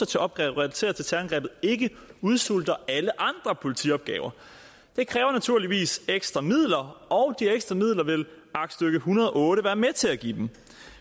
til opgaver relateret til terrorangrebet ikke udsulter alle andre politiopgaver det kræver naturligvis ekstra midler og de ekstra midler vil aktstykke en hundrede og otte være med til at give dem